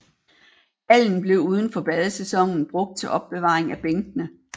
Hallen blev uden for badesæsonen brugt til opbevaring af bænkene